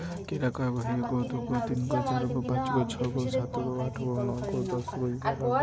एगो दुगो तीनगो चारगो पाँचगो छगो सातगो आठगो नौगो दसगो ग्यारागो--